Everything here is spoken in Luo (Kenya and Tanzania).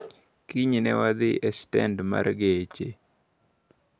Kinyne newadhi e stend mar geche.